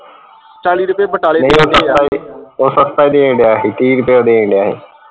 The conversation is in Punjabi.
ਉਹ ਸਸਤਾ ਦੇਣ ਢਆ ਸੀ ਤੀਹ ਰੁਪਏ ਦੇਣ ਢਆ ਸੀ